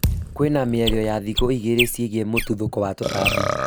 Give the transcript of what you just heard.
kwĩna mĩario ya thikũ igĩrĩ ciĩgiĩ mũtuthũko wa tũtambi